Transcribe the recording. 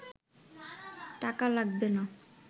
টাকা লাগবে না